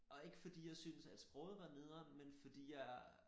Og ikke fordi jeg synes at sproget var nederen men fordi jeg